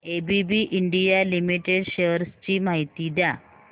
ABB India limited shares ची माहिती द्या